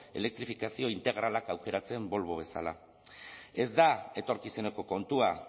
elektrifikazio integralak aukeratzen volvo bezala ez da etorkizuneko kontua